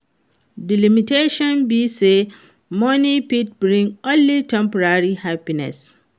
di limitations be say money fit bring only temporary happiness.